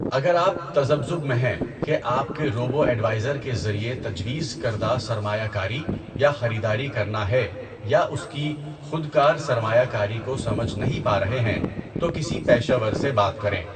اگر آپ تذبذب میں ہیں کہ آپ کے روبو ایڈوائزر کے ذریعے تجویز کردہ سرمایہ کاری یا خریداری کرنا ہے یا اس کی خودکار سرمایہ کاری کو سمجھ نہیں پا رہے ہیں تو کسی پیشہ ور سے بات کریں۔